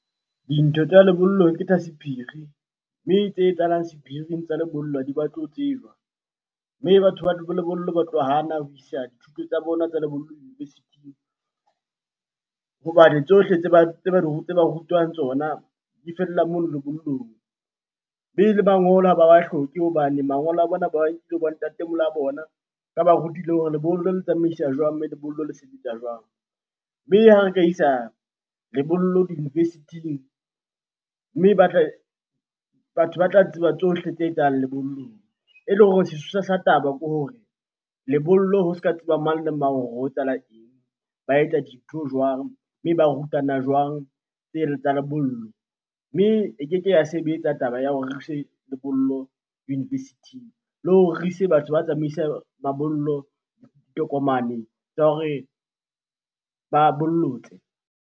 Dintho tsa lebollong ke tsa sephiri, mme tse etsahalang sephiring tsa lebollo ha di batle ho tsejwa. Mme batho lebollo ba tlo hana ho isa dithuto tsa bona tsa lebollong university-ing hobane tsohle tse ba rutwang tsona di fella mono lebollong. Mme le mangolo ha ba wa hloke hobane mangolo a bona ba bo ntatemoholo a bona, ba ba rutile hore lebollo le tsamaisa jwang? Mme lebollo le sebetsa jwang? Mme ha re ka isa lebollo di-university-ing mme ba , batho ba tla tseba tsohle tse etsang lebollong. Ele hore sesosa sa taba ke hore lebollo ho se ka tseba mang le mang hore ho etsahala eng? Ba etsa dintho jwang? Mme ba rutana jwang tsena tsa lebollo? Mme e keke ya sebetsa taba ya hore re ise lebollo university-ing le hore re ise batho ba mabollo tokomane tsa hore ba bollotse.